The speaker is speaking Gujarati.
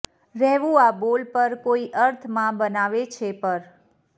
રહેવું આ બોલ પર કોઈ અર્થમાં બનાવે છે પર